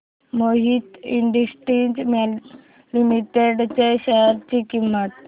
Mohit Industries Limited च्या share ची किंमत